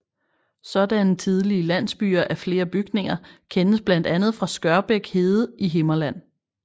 Sådanne tidlige landsbyer af flere bygninger kendes blandt andet fra Skørbæk hede i Himmerland